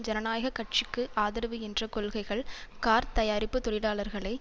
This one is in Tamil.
ஜனநாயக கட்சிக்கு ஆதரவு என்ற கொள்கைகள் கார்த் தயாரிப்பு தொழிலாளர்களை